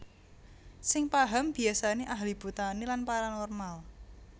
Sing paham biasane ahli botani lan paranormal